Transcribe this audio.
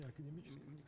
Akademik deyil.